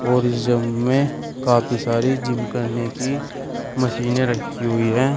और इस जिम मे काफी सारी जिम करने की मशीने रखी हुई है।